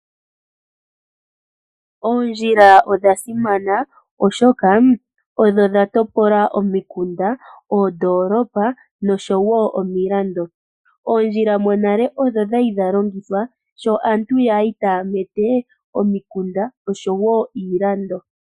Oondjila odha simana, oshoka odho dha topolo omikunda, oondolopa nosho woo iilando. Oondjila monale odho dha li dha longithwa sho aantu ya li taa mete omikunda osho woo iilando